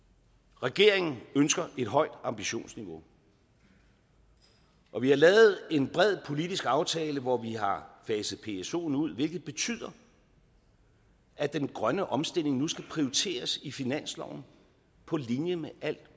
regeringen ønsker et højt ambitionsniveau og vi har lavet en bred politisk aftale hvor vi har faset psoen ud hvilket betyder at den grønne omstilling nu skal prioriteres i finansloven på linje med alt